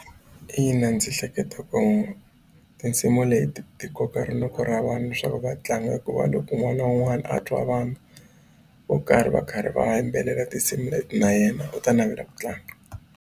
Ina ndzi hleketa ku tinsimu leti ti koka rinoko ra vanhu leswaku va tlanga hikuva loko un'wana na un'wana a twa vanhu vo karhi va karhi va yimbelela tinsimu leti na yena va ta navela ku tlanga.